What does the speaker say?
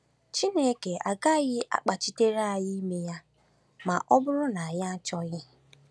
Chineke agaghị akpachitere anyị ime ya ma ọ bụrụ na anyị achọghị.